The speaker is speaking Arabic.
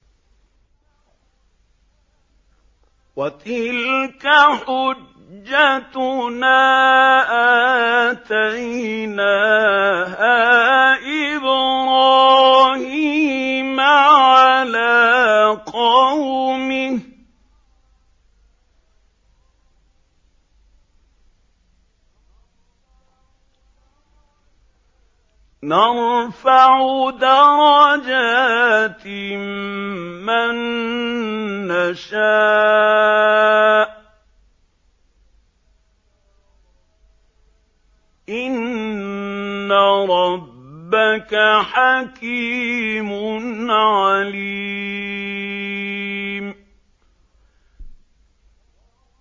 وَتِلْكَ حُجَّتُنَا آتَيْنَاهَا إِبْرَاهِيمَ عَلَىٰ قَوْمِهِ ۚ نَرْفَعُ دَرَجَاتٍ مَّن نَّشَاءُ ۗ إِنَّ رَبَّكَ حَكِيمٌ عَلِيمٌ